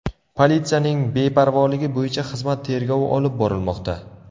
Politsiyaning beparvoligi bo‘yicha xizmat tergovi olib borilmoqda.